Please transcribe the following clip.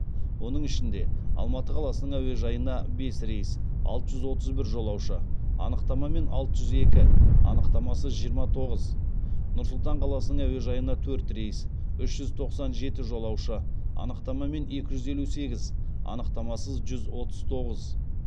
оның ішінде алматы қаласының әуежайына бес рейс алты жүз отыз бір жолаушы анықтамамен алты жүз екі анықтамасыз жиырма тоғыз нұр сұлтан қаласының әуежайына төрт рейс үш жүз тоқсан жеті жолаушы анықтамамен екі жүз елу сегіз анықтамасыз жүз отыз тоғыз